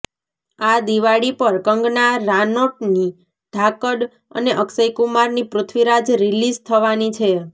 આ દિવાળી પર કંગના રાનોટની ધાકડ અને અક્ષય કુમારની પૃથ્વીરાજ રિલીઝ થવાની છે